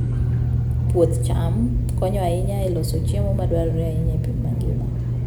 Puoth cham konyo ahinya e loso chiemo madwarore ahinya e piny mangima.